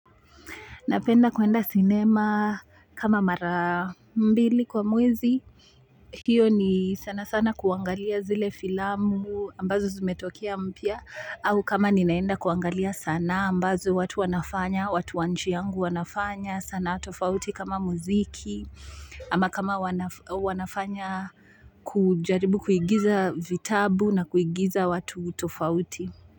Napenda kuenda cinema kama mara mbili kwa mwezi. Hiyo ni sana sana kuangalia zile filamu ambazo zumetokia mpya. Au kama ninaenda kuangalia sanaa ambazo watu wanafanya watu wa nchi yangu wanafanya sanaa tofauti kama muziki ama kama wanafanya kujaribu kuigiza vitabu na kuigiza watu tofauti.